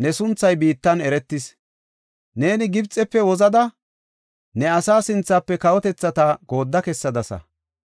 ne sunthay biittan eretis. Neeni Gibxefe wozida ne asaa sinthafe kawotethata goodda kessadasa.